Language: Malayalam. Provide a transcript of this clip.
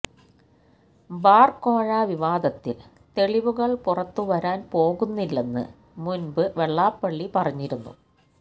ബാര് കോഴ വിവാദത്തില് തെളിവുകള് പുറത്തു വരാന് പോകുന്നില്ലെന്ന് മുന്പ് വെള്ളാപ്പള്ളി പറഞ്ഞിരുന്നു